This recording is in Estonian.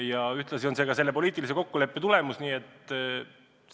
Ja ühtlasi on tegu poliitilise kokkuleppe tulemusega.